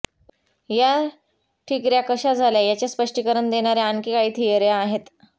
या ठिकर्या कशा झाल्या याचे स्पष्टीकरण देणार्या आणखी काही थियर्या आहेत